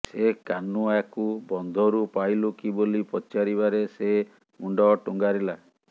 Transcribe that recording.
ସେ କାହ୍ନୁ ୟାକୁ ବନ୍ଧରୁ ପାଇଲୁ କି ବୋଲି ପଚାରିବାରେ ସେ ମୁଣ୍ଡ ଟୁଙ୍ଗାରିଲା